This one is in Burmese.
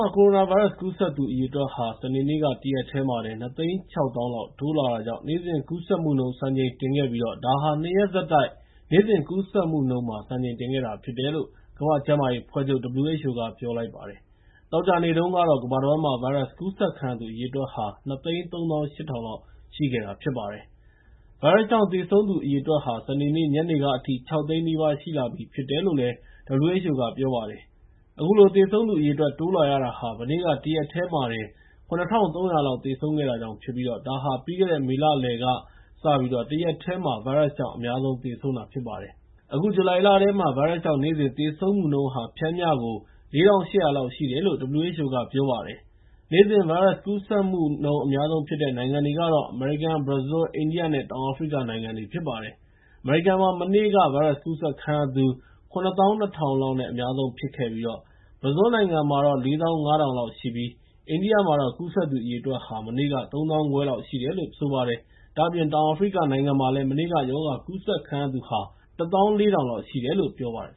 ှာ ကိုရိုနာဗိုင်းရပ်စ် ကူးစက်သူအရေအတွက်ဟာ စနေနေ့ တရက်တည်းတင် ၂၆၀,၀၀၀ လောက် တိုးလာတာကြောင့် နေ့စဉ်ကူးစက်မှုနှုန်း စံချိန်တင်ခဲ့ပြီး ဒါဟာ ၂ ရက်ဆက်တိုက် နေ့စဉ်ကူးစက်မှုနှုန်း စံချိန်တင် မြင့်တက်ခဲ့တာဖြစ်တယ်လို့ ကမ္ဘာ့ကျန်းမာရေးအဖွဲ့ချုပ် (WHO) က ပြောလိုက်ပါတယ်။ သောကြာနေ့တုန်းကတော့ ကမ္ဘာတဝန်းမှာ ဗိုင်းရပ်စ်ကူးစက်ခံရသူ ၂၃၈,၀၀၀ လောက်ရှိခဲ့တာ ဖြစ်ပါတယ်။ ဗိုင်းရပ်စ်ကြောင့် သေဆုံးသူအရေအတွက်ဟာ စနေနေ့ညနေကအထိ ၆၀၀,၀၀၀ နီးပါး ရှိလာခဲ့ပြီဖြစ်တယ်လို့ WHO က ပြောပါတယ်။ အခုလို သေဆုံးသူအရေအတွက် တိုးလာရတာဟာ မနေ့က တရက်တည်းမှာတင် ၇,၃၀၀ လောက် သေဆုံးခဲ့တာကြောင့်ဖြစ်ပြီး ဒါဟာ ပြီးခဲ့တဲ့ မေလလယ်ကစပြီး တရက်တည်းမှာ ဗိုင်းရပ်စ်ကြောင့် အများဆုံးသေဆုံးတာ ဖြစ်ပါတယ်။ အခု ဇူလိုင်လထဲမှာ ဗိုင်းရပ်စ်ကြောင့် နေ့စဉ်သေဆုံးမှုနှုန်းဟာ ပျမ်းမျှ ၄,၈၀၀ လောက်ရှိတယ်လို့ WHO က ဆိုပါတယ်။ နေ့စဉ် ဗိုင်းရပ်စ်ကူးစက်မှု အများဆုံးဖြစ်တဲ့ နိုင်ငံတွေကတော့ အမေရိကန်၊ ဘရာဇီး၊ အိန္ဒိယနဲ့ တောင်အာဖရိကနိုင်ငံတွေ ဖြစ်ပါတယ်။ အမေရိကန်မှာ မနေ့က ဗိုင်းရပ်စ်ကူးစက်ခံရသူ ၇၂,၀၀၀ လောက်နဲ့ အများဆုံးဖြစ်ခဲ့ပြီး ဘရာဇီးနိုင်ငံမှာ ၄၅,၀၀၀ လောက်ရှိပြီး အိန္ဒိယမှာတော့ ကူးစက်သူ အရေအတွက်ဟာ မနေ့က ၃၅,၀၀၀ လောက်ရှိတယ်လို့ ဆိုပါတယ်။ ဒါ့အပြင် တောင်အာဖရိကနိုင်ငံမှာလည်း မနေ့က ရောဂါကူးစက်ခံရသူ ၁၄,၀၀၀ လောက်ရှိတယ်လို့ ပြောပါတယ်